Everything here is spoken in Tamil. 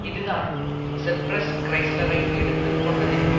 இதுதான் செர்பெரஸ் கிறைஸ்லரை எடுத்து கொண்டதின்